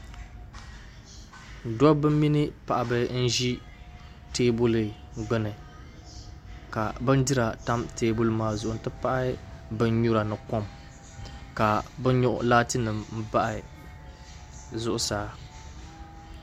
dɔbba mini paɣiba n-ʒi teebuli gbuni ka bindira tam teebuli maa zuɣu nti pahi binyura ni kom ka bɛ yo laatinima m-bahi zuɣusaa